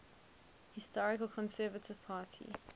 historical conservative party